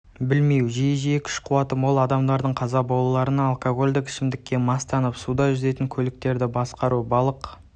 білмеу жиі күш-қуаты мол адамдардың қаза болула-рына алкогольдік ішімдікке мастанып суда жүзетін көліктерді басқару балық